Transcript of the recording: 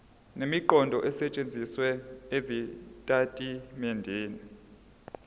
nemiqondo esetshenzisiwe ezitatimendeni